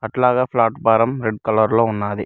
అట్లాగే platform red colour లో ఉన్నది.